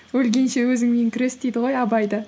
өлгенше өзіңмен күрес дейді ғой абай да